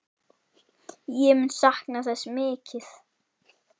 Ég mun sakna þess mikið.